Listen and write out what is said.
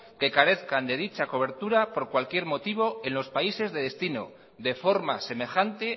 que carezcan de dicha cobertura por cualquier motivo en los países de destino de forma semejante